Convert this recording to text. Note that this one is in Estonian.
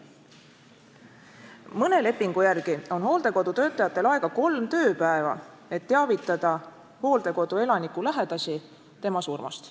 " Mõne lepingu järgi on hooldekodu töötajatel aega kolm tööpäeva, et teavitada hooldekodu elaniku lähedasi tema surmast.